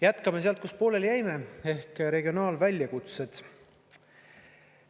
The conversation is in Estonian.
Jätkame sealt, kus pooleli jäime, ehk regionaalväljakutsed.